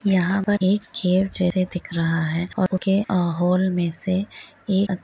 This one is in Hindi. यह एक कीहोल जेसा दिख रह है और कीहोल मेसे एक अच्--